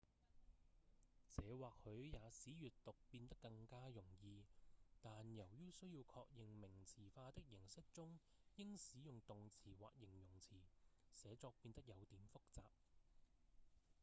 這或許也使閱讀變得更加容易但由於需要確認名詞化的形式中應使用動詞或形容詞寫作變得有點複雜